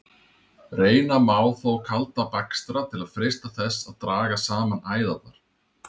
Reyna má þó kalda bakstra til að freista þess að draga saman æðarnar.